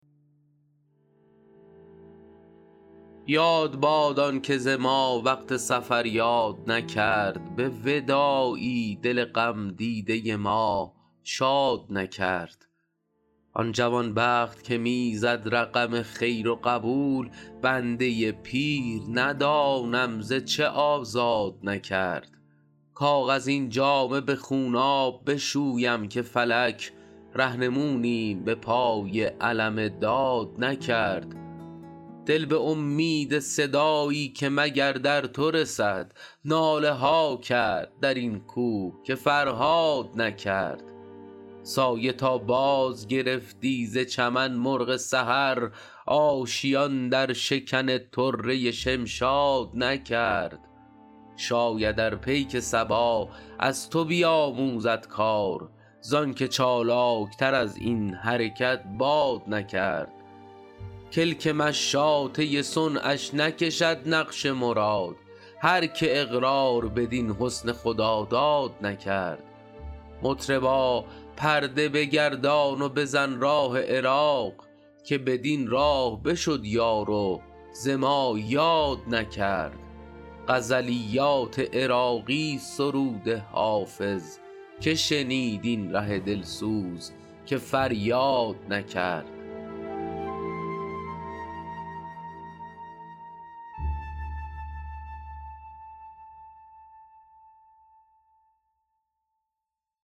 یاد باد آن که ز ما وقت سفر یاد نکرد به وداعی دل غم دیده ما شاد نکرد آن جوان بخت که می زد رقم خیر و قبول بنده پیر ندانم ز چه آزاد نکرد کاغذین جامه به خونآب بشویم که فلک رهنمونیم به پای علم داد نکرد دل به امید صدایی که مگر در تو رسد ناله ها کرد در این کوه که فرهاد نکرد سایه تا بازگرفتی ز چمن مرغ سحر آشیان در شکن طره شمشاد نکرد شاید ار پیک صبا از تو بیاموزد کار زآن که چالاک تر از این حرکت باد نکرد کلک مشاطه صنعش نکشد نقش مراد هر که اقرار بدین حسن خداداد نکرد مطربا پرده بگردان و بزن راه عراق که بدین راه بشد یار و ز ما یاد نکرد غزلیات عراقی ست سرود حافظ که شنید این ره دل سوز که فریاد نکرد